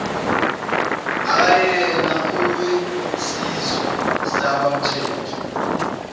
akayena owesizwe sakwamthethwa